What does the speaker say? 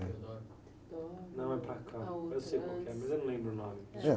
Teodoro?eodoro, a outra antes.ão é para cá, eu sei qual que é mas eu não lembro o nome..